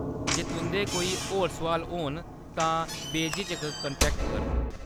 जे तुंʼदे कोई होर सुआल होन तां बेझिझक कांटैक्ट करो।